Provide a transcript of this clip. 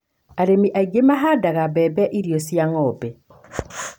Arĩmi angĩ mahandaga mbembe irio cia ng'ombe